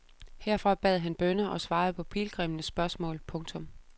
Herfra bad han bønner og svarede på pilgrimmenes spørgsmål. punktum